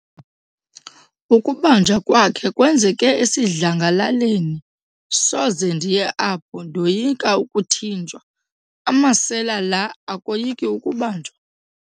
Ukubanjwa kwakhe kwenzeke esidlangalaleni. soze ndiye apho ndoyika ukuthinjwa, amasela la akoyiki ukubanjwa?